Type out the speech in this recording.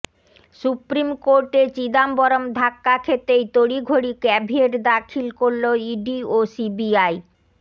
supreme কোর্টে চিদাম্বরম ধাক্কা খেতেই তড়িঘড়ি ক্যাভিয়েট দাখিল করল ইডি ও সিবিআই